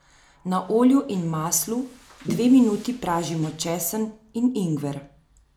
Na olju in maslu dve minuti pražimo česen in ingver.